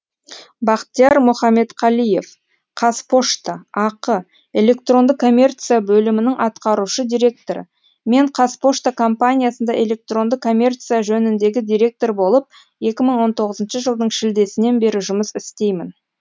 бахтияр мұхаметқалиев қазпошта ақ электронды коммерция бөлімінің атқарушы директоры мен қазпошта компаниясында электронды коммерция жөніндегі директор болып екі мың он тоғызыншы жылдың шілдесінен бері жұмыс істеймін